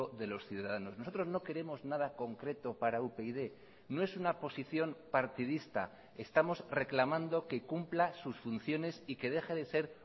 de los ciudadanos nosotros no queremos nada concreto para upyd no es una posición partidista estamos reclamando que cumpla sus funciones y que deje de ser